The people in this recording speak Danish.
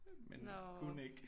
Men kunne ikke